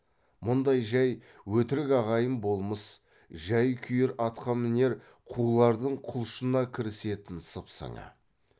мұндай жай өтірік ағайын болмыс жай күйер атқамінер қулардың құлшына кірісетін сыпсыңы